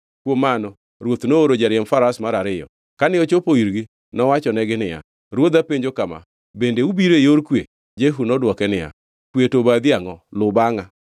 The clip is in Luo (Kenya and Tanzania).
Kuom mano ruoth nooro jariemb faras mar ariyo. Kane ochopo irgi nowachonegi niya, “Ruodha penjo kama: ‘Bende ubiro e yor kwe?’ ” Jehu nodwoke niya, “Kwe to obadhi e angʼo? Luw bangʼa.”